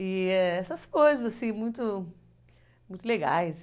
E essas coisas, assim, muito legais.